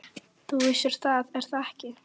Þú vissir það, er það ekki?